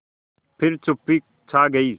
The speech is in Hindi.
फिर चुप्पी छा गई